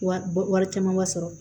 Wari wari camanba sɔrɔ